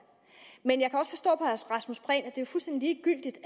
men jeg at det er fuldstændig ligegyldigt